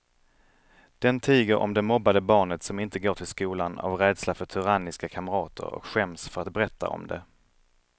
Den tiger om det mobbade barnet som inte går till skolan av rädsla för tyranniska kamrater och skäms för att berätta om det.